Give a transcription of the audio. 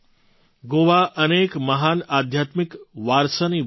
ગોવા અનેક મહાન આધ્યાત્મિક વારસાની ભૂમિ રહી છે